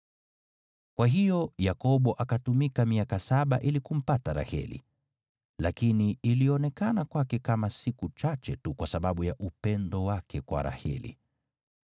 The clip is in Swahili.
Kwa hiyo Yakobo akatumika miaka saba ili kumpata Raheli, lakini ilionekana kwake kama siku chache tu kwa sababu ya upendo wake kwa Raheli.